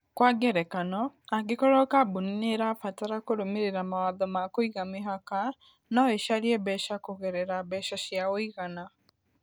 Kwa ngerekano, angĩkorũo kambuni nĩ ĩrabatara kũrũmĩrĩra mawatho ma kũiga mĩhaka, no ĩcarie mbeca kũgerera mbeca cia ũigana.